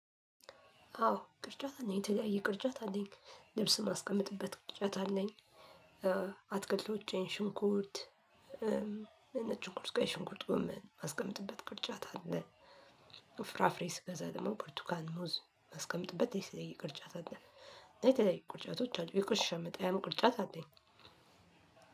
አዎ ቅርጫት አለኝ የተለያየ ቅርጫት አለኝ ልብስ ማስቀመጥበት ቅርጫት አለኝ። አትክልሎቼን ሽንኩርት። ነጭ ሽንኩርት ቀይ ሽንቁርትም ማስቀመጥበት ቅርጫት አለ። ፍራፍሬ ስገዛ ደግሞ ብርቱካን ሙዝ ማስቀመጥበት ቅርጫት አለኝ እንደዚህ የተለይ ቅርጫቶች አሉ። የቆሻሻ መጣያ ቅርጫት አለኝ።